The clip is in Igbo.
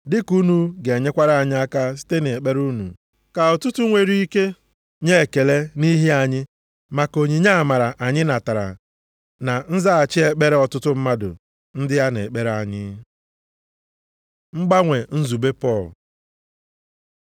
dịka unu ga-enyekwara anyị aka site nʼekpere unu, ka ọtụtụ nwere ike nye ekele nʼihi anyị maka onyinye amara anyị natara na nzaghachi ekpere ọtụtụ mmadụ ndị a na-ekpere anyị. Mgbanwe nzube Pọl